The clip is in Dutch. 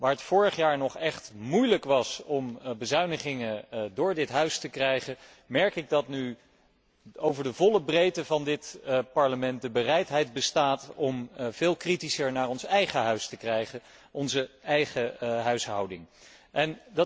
Waar het vorig jaar nog echt moeilijk was om bezuinigingen door dit Huis te krijgen, merk ik dat nu over de volle breedte van dit Parlement de bereidheid bestaat om veel kritischer naar onze eigen huishouding te kijken.